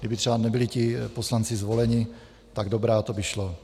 kdyby třeba nebyli ti poslanci zvoleni, tak dobrá, to by šlo.